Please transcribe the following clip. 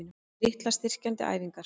Litlar styrkjandi æfingar?